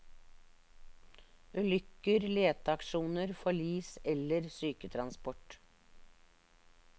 Ulykker, leteaksjoner, forlis eller syketransport.